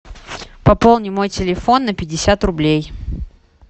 пополни мой телефон на пятьдесят рублей